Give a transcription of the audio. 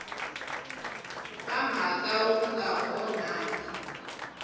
wa mhaka wu nga onhaki